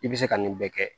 I bɛ se ka nin bɛɛ kɛ